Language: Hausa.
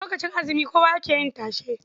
Lokacin azumi kowa yake yin tashe.